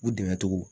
U dɛmɛ cogo